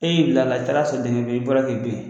E y'i bila la i taara sɔrɔ dingɛ bɛ yen, i b'i bɔra ke ben